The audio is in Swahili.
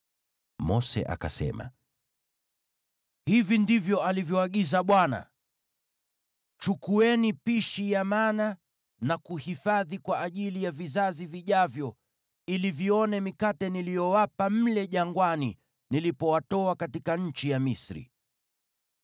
Mose akasema, “Hivi ndivyo alivyoagiza Bwana : ‘Chukueni pishi ya mana na kuhifadhi kwa ajili ya vizazi vijavyo ili vione mikate niliyowapa mle jangwani nilipowatoa katika nchi ya Misri.’ ”